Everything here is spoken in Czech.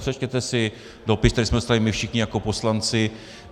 Přečtěte si dopis, který jsme dostali my všichni jako poslanci.